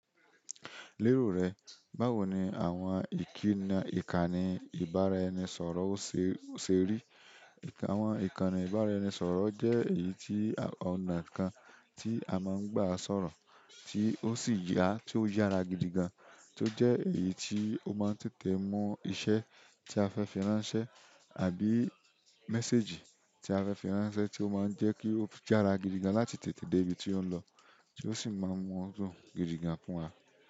Leero re báwo ni àwọn ìkíni ikani ìbára ẹni sọ̀rọ̀ o seri? Àwọn ìkànnì ìbáraẹnisọ̀rọ̀ jẹ́ èyí tí ọ̀nà kan tí a máa ń gbà sọ̀rọ̀ tí ó sì ya ti o yára gidi gan, tí ó jẹ́ èyí tí ó máa ń tètè mú iṣẹ́ tí a fẹ́ fí ránṣẹ́ àbí méséjì tí a fẹ́ fí ránṣẹ́ tí ó máa ń jẹ́ kí ó yára gidi gan láti tètè dé ibi tí ó ń lọ, tí ó sì máa ń mú ọdún gidi gan fúnwa.